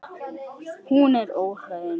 Hún er óhrein.